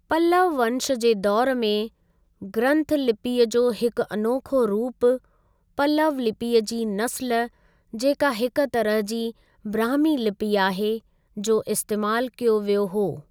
पल्लव वंश जे दौर में, ग्रन्थ लिपीअ जो हिक अनोखो रूप, पल्लव लिपीअ जी नस्ल जेका हिक तरह जी ब्राह्मी लिपि आहे, जो इस्तेमालु कयो वियो हो।